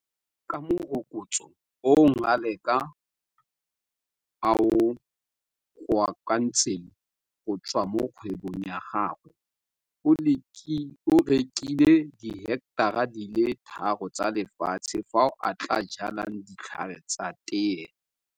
Ka morokotso o Ngaleka a o kokoantseng go tswa mo kgwebong ya gagwe o rekile diheketara di le tharo tsa lefatshe fao a tla jalang ditlhare tsa tee.